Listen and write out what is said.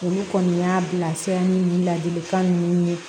Olu kɔni y'a bilasira ni ladilikan ninnu ye